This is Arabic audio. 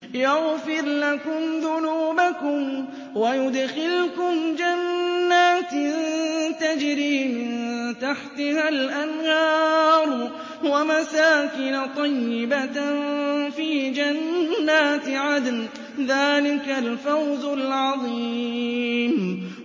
يَغْفِرْ لَكُمْ ذُنُوبَكُمْ وَيُدْخِلْكُمْ جَنَّاتٍ تَجْرِي مِن تَحْتِهَا الْأَنْهَارُ وَمَسَاكِنَ طَيِّبَةً فِي جَنَّاتِ عَدْنٍ ۚ ذَٰلِكَ الْفَوْزُ الْعَظِيمُ